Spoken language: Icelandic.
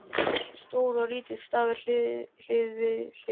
Stór og lítill stafur hlið við hlið.